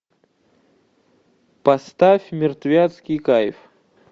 поставь мертвецкий кайф